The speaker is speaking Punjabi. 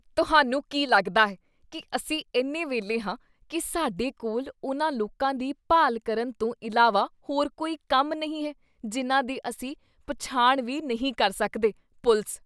ਤੁਹਾਨੂੰ ਕੀ ਲੱਗਦਾ ਹੈ ਕੀ ਅਸੀਂ ਇੰਨੇ ਵਿਹਲੇ ਹਾਂ ਕੀ ਸਾਡੇ ਕੋਲ ਉਨ੍ਹਾਂ ਲੋਕਾਂ ਦੀ ਭਾਲ ਕਰਨ ਤੋਂ ਇਲਾਵਾ ਹੋਰ ਕੋਈ ਕੰਮ ਨਹੀਂ ਹੈ ਜਿਨ੍ਹਾਂ ਦੀ ਅਸੀਂ ਪਛਾਣ ਵੀ ਨਹੀਂ ਕਰ ਸਕਦੇ? ਪੁਲਿਸ